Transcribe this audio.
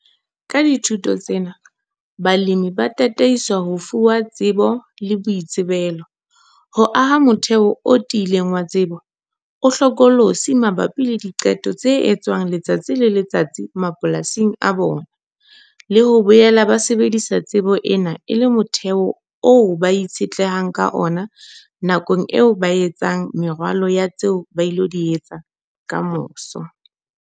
Ka dithuto tsena, balemi ba tataiswa ho fuwa tsebo le boitsebelo, ho aha motheho o tiileng wa tsebo, o hlokolosi mabapi le diqeto tse etswang letsatsi le letsatsi mapolasing a bona, le ho boela ba sebedisa tsebo ena e le motheho oo ba itshetlehang ka ona nakong eo ba etsang meralo ya tseo ba ilo di etsa ka moso.